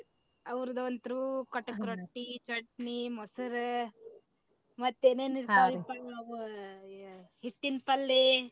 ಅವ್ರದಂತೂ ಕಟಕ ರೊಟ್ಟಿ ಚಟ್ನಿ ಮೊಸರ ಮತ್ತ ಏನೇನ ಇರ್ತಾವ್ರಿಪಾ ಅವ ಹಿಟ್ಟಿನ ಪಲ್ಲೆ.